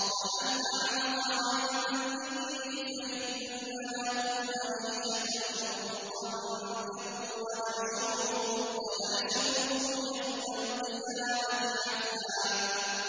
وَمَنْ أَعْرَضَ عَن ذِكْرِي فَإِنَّ لَهُ مَعِيشَةً ضَنكًا وَنَحْشُرُهُ يَوْمَ الْقِيَامَةِ أَعْمَىٰ